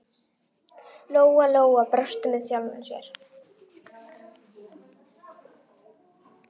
Lóa-Lóa brosti með sjálfri sér.